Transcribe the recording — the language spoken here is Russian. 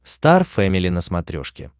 стар фэмили на смотрешке